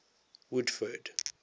woodford